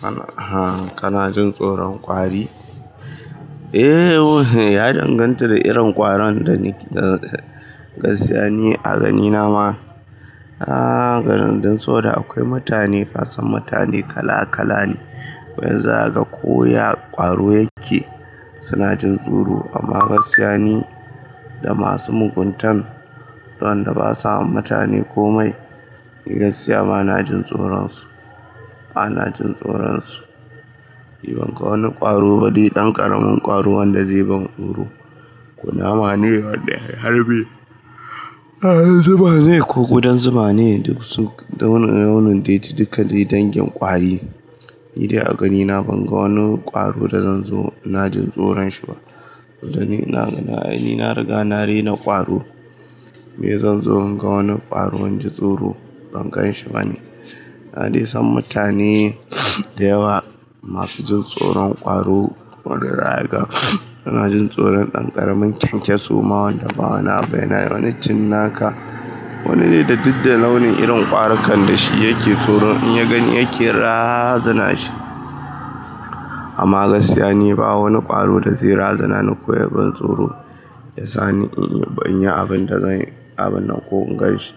Kana jin tsoron kwari? Eh, ya danganta da irin kwaro da ni da gaskiya ne a ganina ma. A garin don saboda akwai mutane, ƙasan mutane kala kala ne. Wani zaka koya kwaro yake, suna jin tsoro. Amma gaskiya ne da masu mugunta, waɗanda ba sa mutane ko mai, ni gaskiya bana jin tsoron su. Bana jin tsoron su. Ni ban ga wani kwaro wani ɗan ƙaramin kwaro wanda zai ban tsoro. Kunama ne wanda ke harbi, kudan zuma ne dukka dai dangin kwarine zuma ne duk dukka dai sun dau na launin Ni dai a ganina ban ga wani kwaro da zan zo na jin tsoron shi ba. Dan ni na riga na rena kwaro. Me zan zo in ga wani kwaro in ji tsoro? Ban gan shi bane. Na san mutane da yawa masu jin tsoron kwaro, wanda zakaga suna jin tsoron ɗan ƙaramin kyankyaso ma wanda ba wani abu yanayi ba wani cinnaka. Wani ne da duk da launin irin kwaro kanda shi yake tsoro in ya gani yake razana shi. Amma gaskiya ne ba wani kwaro da zai razana ni ko ya ban tsoro. Ya sa ni in yi banyi abinda zan abin nan ko in gan shi.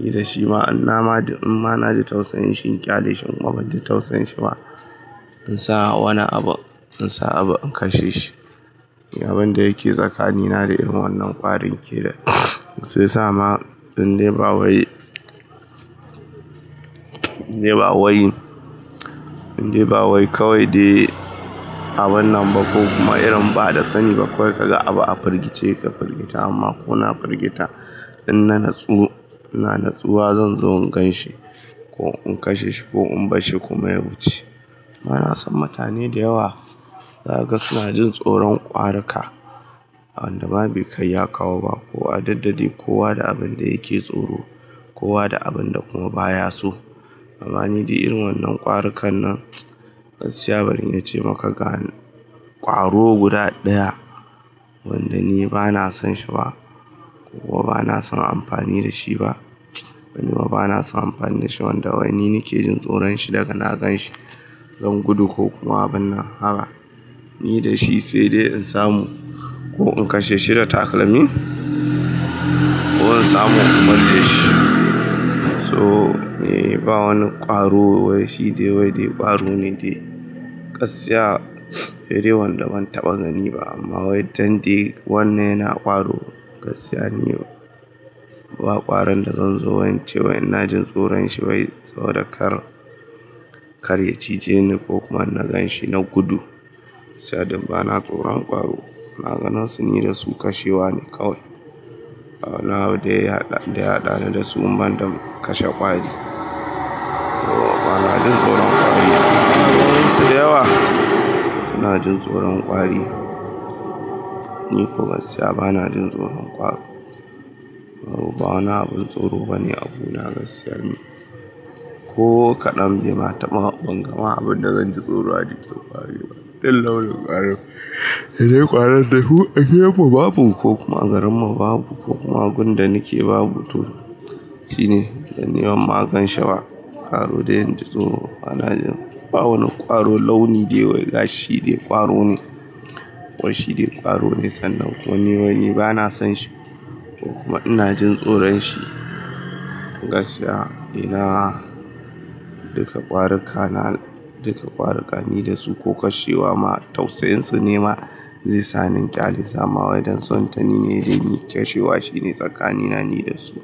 Ni da shi ma in na ma in ma na ji tausayin shi in ƙyale shi kuma ban ji tausayin shi ba. In sa wani abu, in sa abu in kashe shi. Abin da yake tsakani na da irin wannan ƙwarin ke nan shi ya sama in dai ba wai. In dai ba wai. In dai ba wai kawai dai abun nan ba ko kuma irin ba da sani ba kawai ka ga abu a firgice ka firgita amma ko na firgita in na natsu ina natsuwa zan zo in gan shi ko in kashe shi ko in bar shi kuma ya wuce. Bana son mutane da yawa. Zaga suna jin tsoron ƙwaro ka. Wanda ma bai kai ya kawo ba. Kowa duk dadai, kowa da abin da yake tsoro, kowa da abin da kuma baya so. Amma ni dai irin wannan ƙwaro kan nan, gaskiya bari in ce maka ga kwaro guda ɗaya wanda ni bana son shi ba ko bana son amfani da shi ba. Bana son amfani da shi wanda wai ni nake jin tsoron shi daga na gan shi. Zan gudu ko kuma binna haba. Ni da shi sai dai in samu ko in kashe shi da takalmin ko in samu in bar shi. So eh ba wani kwaro wai shi dai wai dai kwaro ne dai. Gaskiya, sai dai wanda ban taɓa gani ba amma wai don dai wannan yana kwaro gaskiya ne. Ba ƙwarin da zan zo in ce wai ina jin tsoron shi wai saboda kar ya cije ni ko kuma na gan shi na gudu. Saboda bana tsoron ƙwaro. Ina gansu ni da su kashewa ne kawai. Ba wanni abu da ya haɗa ni da su banda kashe ƙwari. So bana jin tsoron ƙwari. Akwaai wasu da yawa suna jin tsoron ƙwari. Ni ko gaskiya bana jin tsoron ƙwari. Ƙwaro ba wani abin tsoro bane a gona gaskiya ne. Ko kaɗan bai ma taba ban gama abin da zan ji tsoro a jiƙin ƙwari ba. Duk launin ƙwari. Sai dai ƙwarin dai hu agidan mu wa babu ko kuma a garin mu babu kuma agun da nake babu to shine dan ni ban ma gan shi ba. Ƙwaro dai in ji tsoro bana jin. Ba wani kwaro launi dai wai gashi dai ƙwaro ne. Wai shi dai ƙwaro ne sannan ko wani wai ni bana son shi ko kuma ina jin tsoron shi. Gaskiya, ina duka ƙwari ka na duka ƙwari ka ni da su ko kashewa ma tausayin su ne ma zai sa ni in ƙyale. Dama wai don son ta ni ne dai ni kashewa shine tsakani na ni da su.